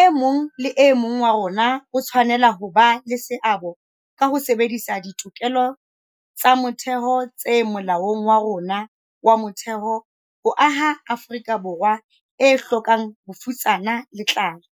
E mong le e mong wa rona o tshwanela ho ba le seabo ka ho sebedisa ditokelo tsa motheo tse Molaong wa rona wa Motheo ho aha Afrika Borwa e hlokang bofutsana le tlala,